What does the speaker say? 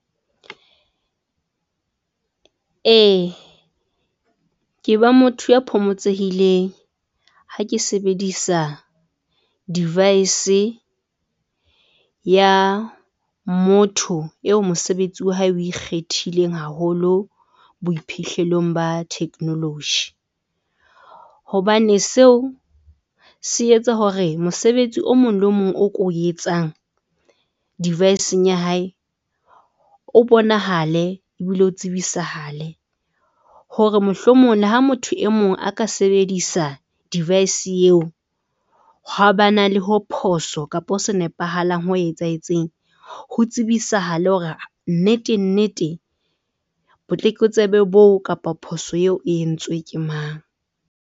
E ke ba motho ya phomotsehileng ha ke sebedisa device ya motho eo mosebetsi wa hae oe ikgethileng haholo boiphihlelong ba technology. Hobane seo se etsa hore mosebetsi o mong le mong o ko etsang. Device-eng ya hae o bonahale ebile o tsebisahale hore mohlomong le ha motho e mong a ka sebedisa device eo, ha ba na le ho phoso kapa ho sa nepahalang ho etsahetseng. Ho tsebisahale hore nnete nnete botlokotsebe boo kapa phoso eo e entswe ke mang.